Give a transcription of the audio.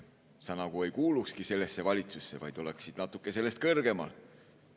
Sa nagu ei kuulukski sellesse valitsusse, vaid oleksid natuke sellest kõrgemal.